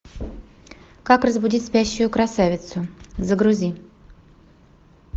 как разбудить спящую красавицу загрузи